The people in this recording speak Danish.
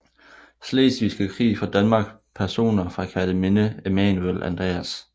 Slesvigske Krig fra Danmark Personer fra Kerteminde Emanuel Andreas